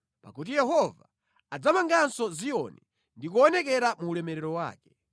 Pakuti Yehova adzamanganso Ziyoni ndi kuonekera mu ulemerero wake.